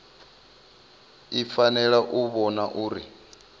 i fanela u vhona uri